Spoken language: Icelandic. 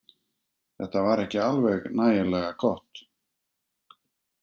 Þetta var ekki alveg nægilega gott